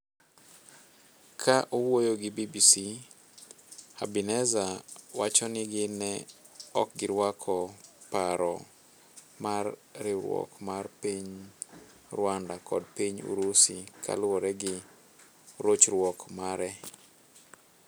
Ka owuoyo gi BBC, Habineza wachoni gin ne okgirwako paro mar riwruok mar piny Rwanda kod Piny Urusi kaluore gi rochruok mare.s